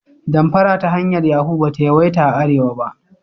Damfara ta hanyar Yahu ba ta yawaita a arewa ba.